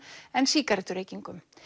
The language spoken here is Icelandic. en sígarettureykingum